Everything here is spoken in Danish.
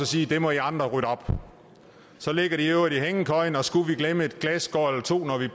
sige det må i andre rydde op så ligger de i øvrigt i hængekøjen og skulle vi glemme et glasskår eller to når vi